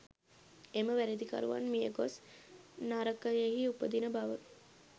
එම වැරැදිකරුවන් මිය ගොස් නරකයෙහි උපදින බව